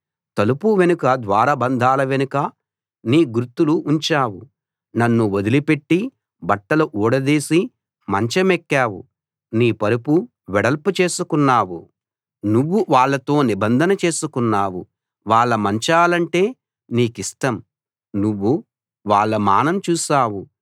తలుపు వెనుక ద్వారబంధాల వెనుక నీ గుర్తులు ఉంచావు నన్ను వదిలిపెట్టి బట్టలు ఊడదీసి మంచమెక్కావు నీ పరుపు వెడల్పు చేసుకున్నావు నువ్వు వాళ్ళతో నిబంధన చేసుకున్నావు వాళ్ళ మంచాలంటే నీకిష్టం నువ్వు వాళ్ళ మానం చూశావు